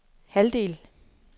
halvdel